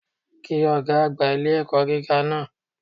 Kí Ọ̀gá àgbà ilé-ẹ̀kọ́ gíga náà